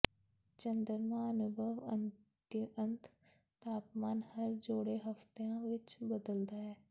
ਚੰਦਰਮਾ ਅਨੁਭਵ ਅਤਿਅੰਤ ਤਾਪਮਾਨ ਹਰ ਜੋੜੇ ਹਫ਼ਤਿਆਂ ਵਿਚ ਬਦਲਦਾ ਹੈ